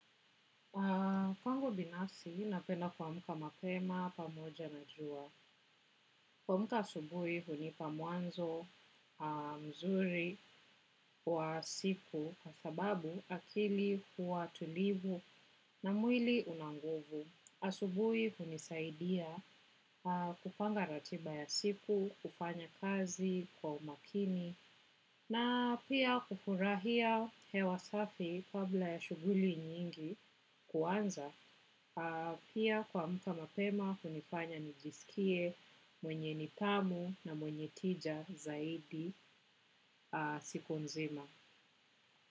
Pangu binasi napenda kuamka mapema pamoja na jua. Kuamka asubuhi hunipa mwanzo mzuri wa siku kwa sababu akili kuwa tulivu na mwili unanguvu. Asubuhi hunisaidia kupanga ratiba ya siku, kufanya kazi kwa umakini na pia kufurahia hewa safi kabla ya shuguli nyingi kuanza pia kuamka mapema hunifanya nijisikie mwenye nithamu na mwenye tija zaidi siku nzima.